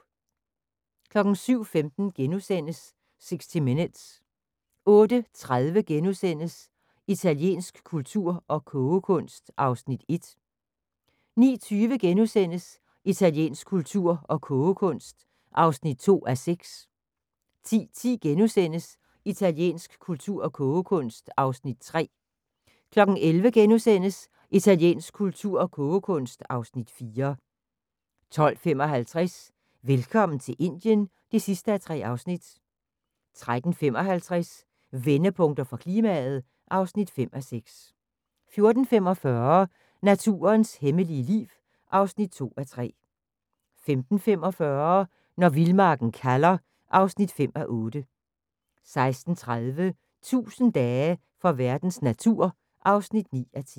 07:15: 60 Minutes * 08:30: Italiensk kultur og kogekunst (Afs. 1)* 09:20: Italiensk kultur og kogekunst (2:6)* 10:10: Italiensk kultur og kogekunst (Afs. 3)* 11:00: Italiensk kultur og kogekunst (Afs. 4)* 12:55: Velkommen til Indien (3:3) 13:55: Vendepunkter for klimaet (5:6) 14:45: Naturens hemmelige liv (2:3) 15:45: Når vildmarken kalder (5:8) 16:30: 1000 dage for verdens natur (9:10)